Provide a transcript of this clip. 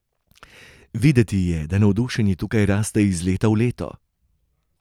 Videti je, da navdušenje tukaj raste iz leta v leto.